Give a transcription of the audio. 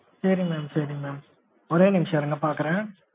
சேரி mam sorry mam ஒரே நிமிஷம் இருங்க பாக்குறேன்